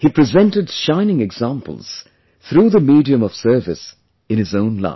He presented shining examples through the medium of service in his own life